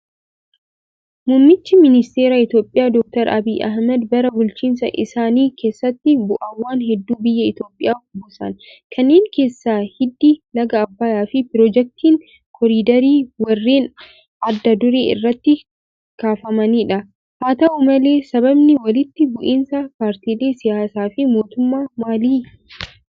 Muummichi Ministeeraa Itoophiyaa Doktor Abiy Ahimed bara bulchiinsa isaanii keessatti bu'aawwan hedduu biyya Itoophiyaaf buusan. Kanneen keessa hidhi laga Abbayaa fi pirojektiin koriiderii warreen adda duree irratti kaafamanidha. Haa ta'u malee sababni walitti bu'insi paartilee siyaasaa fi mootummaa maali?